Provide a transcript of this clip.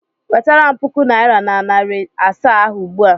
Wetara m puku naịra na narị asaa ahụ ugbu a!